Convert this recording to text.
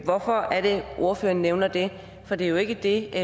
hvorfor er det at ordføreren nævner det for det er jo ikke det